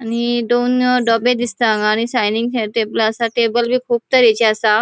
आणि दोन डबे दिसता हांगा आणि सायडिन हे टेबल असा टेबलबी कुब तरेची असा